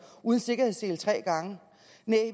uden sikkerhedssele tre gange men